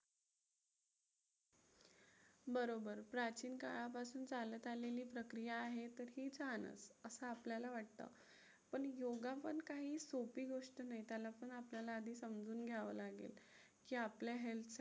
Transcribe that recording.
बरोबर, प्राचीन काळापसून चालत आलेली प्रक्रिया आहे तर हीच राहणार असं आपल्याला वाटतं. पण योगा पण काही सोपी गोष्ट नाही. त्याला पण आपल्याला आधी समजून घ्यावं लागेल की आपल्या health साठी